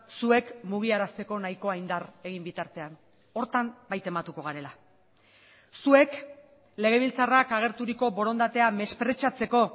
zuek mugiarazteko nahikoa indar egin bitartean horretan bai tematuko garela zuek legebiltzarrak agerturiko borondatea mespretxatzeko